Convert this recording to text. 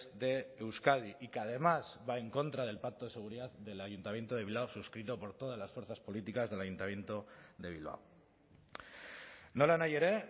de euskadi y que además va en contra del pacto de seguridad del ayuntamiento de bilbao suscrito por todas las fuerzas políticas del ayuntamiento de bilbao nolanahi ere